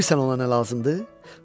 Bilirsən ona nə lazımdır?